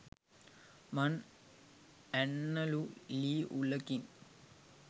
මං ඇන්නලු ළී උළකින්